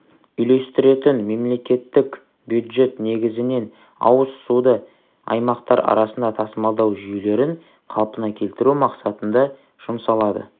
үйлестіретін мемлекеттік бюджет негізінен ауыз суды аймақтар арасында тасымалдау жүйелерін қалпына келтіру мақсатында жұмсалады